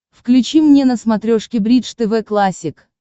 включи мне на смотрешке бридж тв классик